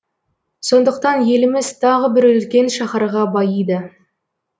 сондықтан еліміз тағы да бір үлкен шаһарға байиды